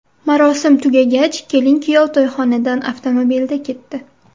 Marosim tugagach, kelin-kuyov to‘yxonadan avtomobilda ketdi.